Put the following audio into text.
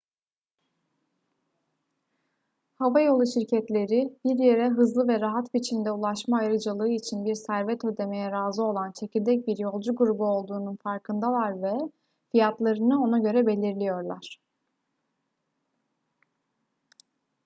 havayolu şirketleri bir yere hızlı ve rahat biçimde ulaşma ayrıcalığı için bir servet ödemeye razı olan çekirdek bir yolcu grubu olduğunun farkındalar ve fiyatlarını ona göre belirliyorlar